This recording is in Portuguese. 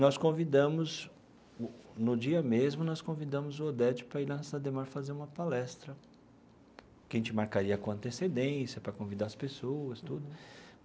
Nós convidamos, no dia mesmo, nós convidamos o Oded para ir na Cidade Ademar fazer uma palestra, que a gente marcaria com antecedência para convidar as pessoas, tudo.